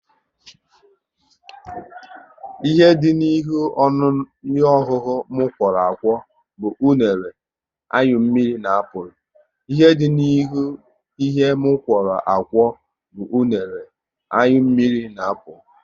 Ihe dị n'ihe ọṅụṅụ m kworo akwo bụ unere, anyụ mmiri na apụl